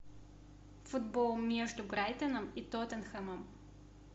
футбол между брайтоном и тоттенхэмом